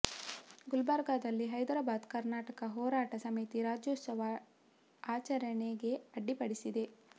ಗುಲ್ಬರ್ಗದಲ್ಲಿ ಹೈದರಾಬಾದ್ ಕರ್ನಾಟಕ ಹೋರಾಟ ಸಮಿತಿ ರಾಜ್ಯೋತ್ಸವ ಆಚರಣೆಗೆ ಅಡ್ಡಿ ಪಡಿಸಿದೆ